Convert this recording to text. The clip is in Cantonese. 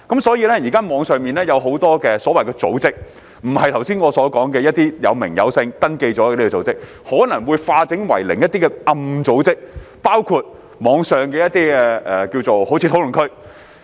所以，現時網上有很多組織，不是我們剛才所說有真實名稱及已登記的組織，而是化整為零及躲藏在暗角的一些組織，包括某些網上討論區。